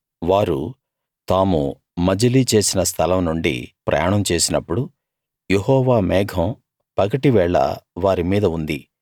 వారు తాము మజిలీ చేసిన స్థలం నుండి ప్రయాణం చేసినప్పుడు యెహోవా మేఘం పగటివేళ వారి మీద ఉంది